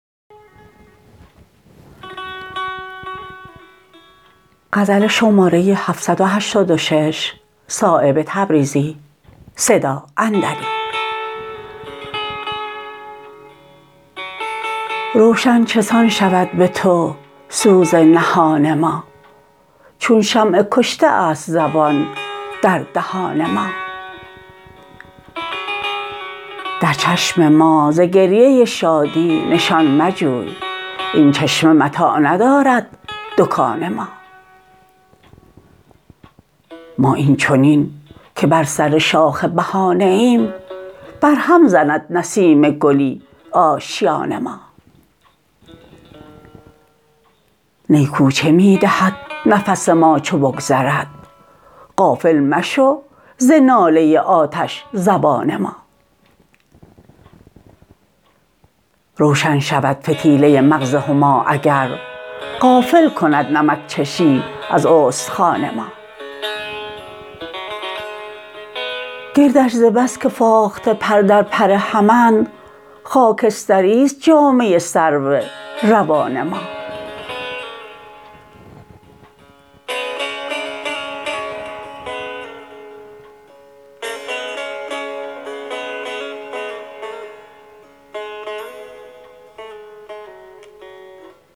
روشن چسان شود به تو سوز نهان ما چون شمع کشته است زبان در دهان ما در چشم ما ز گریه شادی نشان مجوی این چشمه متاع ندارد دکان ما ما این چنین که بر سر شاخ بهانه ایم بر هم زند نسیم گلی آشیان ما نی کوچه می دهد نفس ما چو بگذرد غافل مشو ز ناله آتش زبان ما روشن شود فتیله مغز هما اگر غافل کند نمکچشی از استخوان ما گردش ز بس که فاخته پر در پر همند خاکستری است جامه سرو روان ما